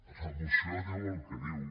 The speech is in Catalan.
la moció diu el que diu